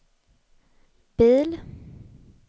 bil